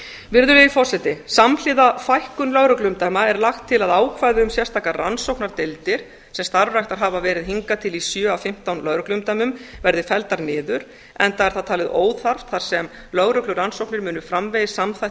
virðulegi forseti samhliða fækkun lögregluumdæma er lagt til að ákvæði um sérstakar rannsóknardeildir sem starfræktar hafa verið hingað til í sjö af fimmtán lögregluumdæmum verði felldar niður enda er það talið óþarft þar sem lögreglurannsóknir munu framvegis